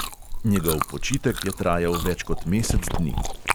Njegov počitek je trajal več kot mesec dni.